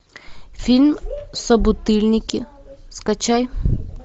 фильм собутыльники скачай